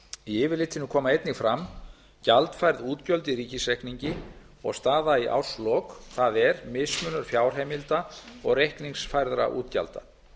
í yfirlitinu koma einnig fram gjaldfærð útgjöld í ríkisreikningi og staða í árslok það er mismunur fjárheimilda og reikningsfærðra útgjalda